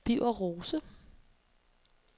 Birger Rose